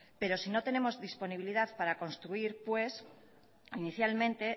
pero si no tenemos disponibilidad para construir pues inicialmente